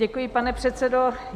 Děkuji, pane předsedo.